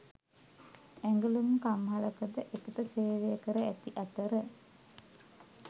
ඇඟලුම් කම්හලක ද එකට සේවය කර ඇති අතර